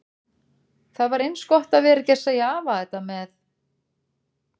Það var eins gott að vera ekki að segja afa þetta með